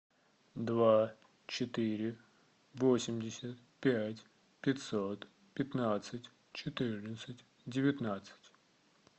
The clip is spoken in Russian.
два четыре восемьдесят пять пятьсот пятнадцать четырнадцать девятнадцать